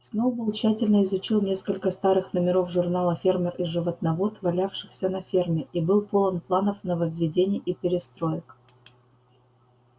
сноуболл тщательно изучил несколько старых номеров журнала фермер и животновод валявшихся на ферме и был полон планов нововведений и перестроек